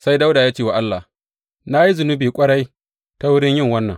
Sai Dawuda ya ce wa Allah, Na yi zunubi ƙwarai ta wurin yin wannan.